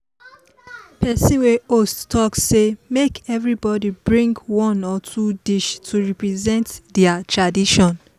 person wey host talk say make everybody bring one or two dish to represent their tradition